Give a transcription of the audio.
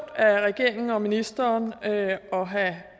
af regeringen og ministeren at have